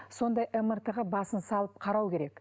сондай мрт ға басын салып қарау керек